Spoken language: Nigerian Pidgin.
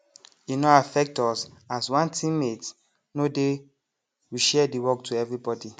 e no affect us as one teammate no dey we share the work to everybody